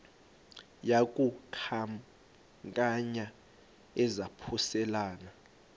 yaku khankanya izaphuselana